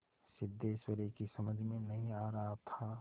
सिद्धेश्वरी की समझ में नहीं आ रहा था